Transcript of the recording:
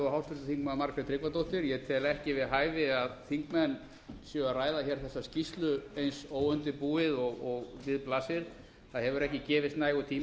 háttvirtur þingmaður margrét tryggvadóttir ég tel ekki við hæfi að þingmenn séu að ræða þessa skýrslu eins óundirbúið og við blasir það hefur ekki gefist nægur tími til að